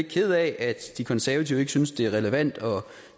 ked af at de konservative ikke synes at det er relevant at